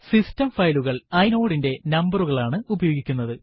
system ഫയലുകള് inode ന്റെ നമ്പരുകൾ ആണ് ഉപയോഗിക്കുന്നത്